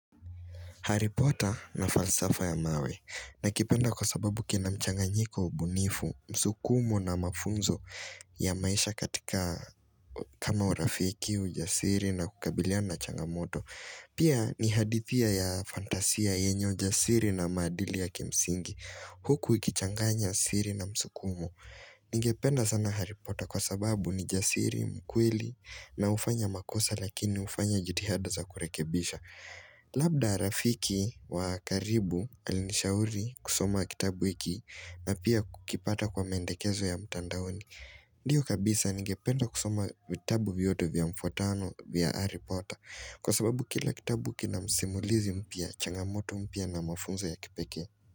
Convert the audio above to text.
Haripota na falsafo ya mawe, nakipenda kwa sababu kina mchanganyiko, ubunifu, msukumo, na mafunzo ya maisha katika kama urafiki, ujasiri na kukabiliana na changamoto. Pia ni hadithia ya fantasia yenye ujasiri na maadili ya kimsingi, huku ikichanganya siri na msukumo. Ningependa sana haripota kwa sababu, ni jasiri mkweli, na hufanya makosa lakini hufanya jitihada za kurekebisha. Labda, rafiki wa karibu alinishauri kusoma kitabu hiki, na pia kukipata kwa mendekezo ya mtandaoni Ndio kabisa, nigependa kusoma vitabu vyote vya mfuatano vya haripota, kwa sababu kila kitabu kina msimulizi mpya, changamoto mpya na mafunzo ya kipeke.